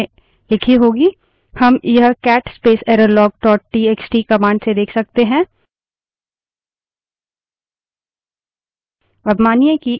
हम यह cat space errorlog dot TXT cat space errorlog dot txt command से देख सकते हैं